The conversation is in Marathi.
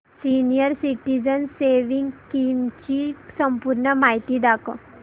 सीनियर सिटिझन्स सेविंग्स स्कीम ची संपूर्ण माहिती दाखव